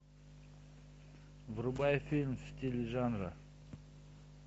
врубай фильм в стиле жанра